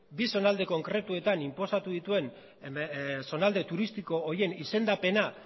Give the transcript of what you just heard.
bi zonalde konkretutan inposatu dituen zonalde turistiko horien izendapena